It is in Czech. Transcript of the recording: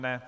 Ne.